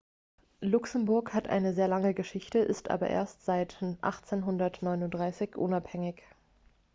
luxemburg hat eine lange geschichte ist aber erst seit 1839 unabhängig